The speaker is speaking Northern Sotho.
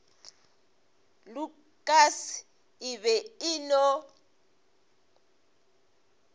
lukas e be e no